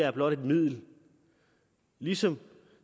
er blot et middel ligesom